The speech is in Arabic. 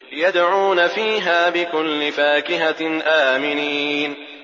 يَدْعُونَ فِيهَا بِكُلِّ فَاكِهَةٍ آمِنِينَ